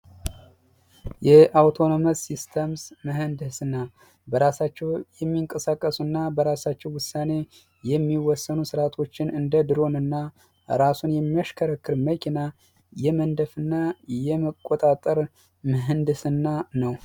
የአውቶነመስ ሲስተም ምህንድስና በራሳቸው የሚንቀሳቀሱ እና በራሳቸው ውሳኔ የሚወስኑ እንደ ድሮን እና ራሱን የሚያሽከረክር መኪና የመንደፍ እና የመቆጣጠር ምህንድስና ነው።